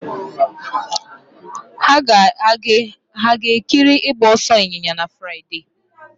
Hà ga na-ekiri ịgba ọsọ ịnyịnya na Fraịde?